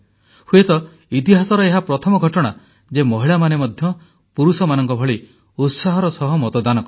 ହୁଏତ ଇତିହାସର ଏହା ପ୍ରଥମ ଘଟଣା ଯେ ମହିଳାମାନେ ମଧ୍ୟ ପୁରୁଷମାନଙ୍କ ଭଳି ଉତ୍ସାହର ସହ ମତଦାନ କଲେ